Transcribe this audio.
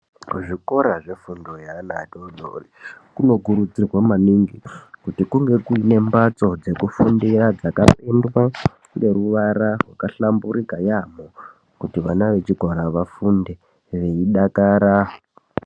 Kuzvikora zvefundo yeana adoodori, kunokurudzirwa maningi, kuti kunge kuine mbatso dzekufundira dzakapendwa ngeruwara rwakahlamburika yaamho, kuti vana vechikora vafunde veidakara.